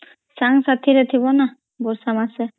ସାଂଗ୍ ସାଥିରେ ଥିବ ନା ବର୍ଷା ମାସେ